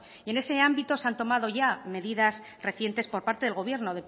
en ese ámbito se han tomado ya medidas recientes por parte del gobierno